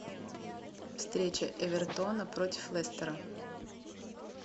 встреча эвертона против лестера